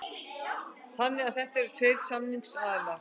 Þannig að þetta eru tveir samningsaðilar